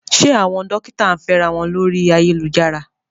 Ṣé àwọn dókítà ń fẹ́ra wọn lórí ayélujára?